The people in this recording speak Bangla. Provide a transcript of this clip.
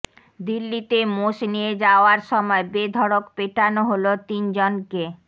দিল্লিতে মোষ নিয়ে যাওয়ার সময় বেধড়ক পেটানো হল তিন জনকে